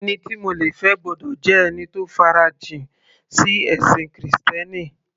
Ẹni tí mo le fẹ́ gbọ́dọ̀ jẹ́ ẹni tó farajìn sí ẹ̀sìn krìstẹ́nì